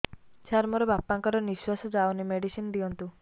ସାର ମୋର ବାପା ଙ୍କର ନିଃଶ୍ବାସ ଯାଉନି ମେଡିସିନ ଦିଅନ୍ତୁ